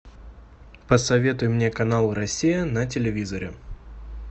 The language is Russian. посоветуй мне канал россия на телевизоре